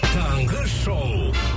таңғы шоу